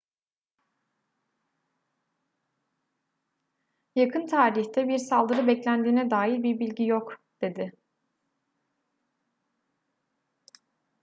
yakın tarihte bir saldırı beklendiğine dair bir bilgi yok dedi